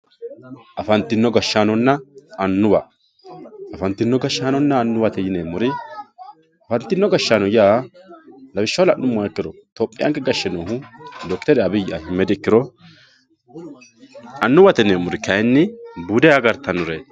afantino gashshaanonna annuwa afantino gashshaanonna annuwate yineemmori afantino gashshaano yaa lawishshaho la'nummoha ikkiro topiyaanke gashshe noo dokiteri abiyi ahimedi ikkiro annuwate yineemmori kayiinni bude agartannoreeti.